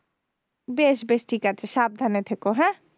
বেশ বেশ ঠিক আছে সাবধানে থেকো হ্যাঁ